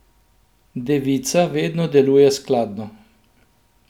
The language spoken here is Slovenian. Devica vedno deluje skladno.